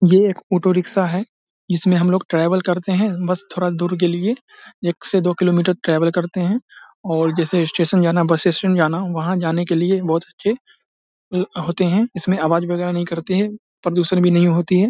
ये एक auto rickshaw है। जिसमे हमलोग ट्रेवल करते हैं बस थोड़ा दूर के लिए एक से दो किलो मीटर ट्रेवल करते हैं जैसे स्टेशन जाना बस स्टैंड जाना वहाँ जाने के लिए बोहोत अच्छे होते हैं। इसमें अवाज वगेरा भी नहीं करते हैं। प्रदूषण भी नहीं होती है।